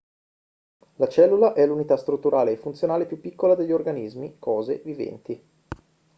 la cellula è l'unità strutturale e funzionale più piccola degli organismi cose viventi